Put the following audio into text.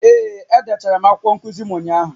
Ee, edechara m akwụkwọ nkuzi m ụnyahụ